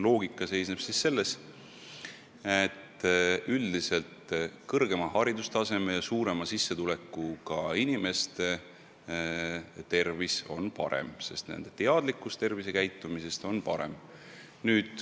Loogika seisneb selles, et üldiselt on kõrgema haridustaseme ja suurema sissetulekuga inimeste tervis parem, sest nende teadlikkus õigest tervisekäitumisest on parem.